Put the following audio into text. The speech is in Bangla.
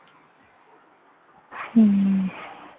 হম